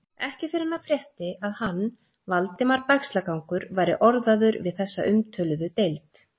Ekki fyrr en hann frétti, að hann, Valdimar Bægslagangur, væri orðaður við þessa umtöluðu deild.